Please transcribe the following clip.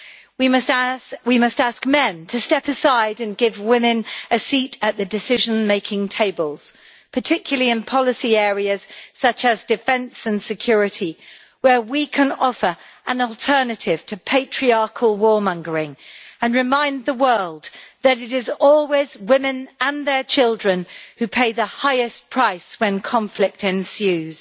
We must ask men to step aside and give women a seat at the decision making tables, particularly in policy areas such as defence and security, where we can offer an alternative to patriarchal warmongering and remind the world that it is always women and their children who pay the highest price when conflict ensues.